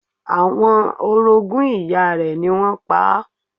Àwọn orogún ìyá rẹ̀ ni wọ́n pa á.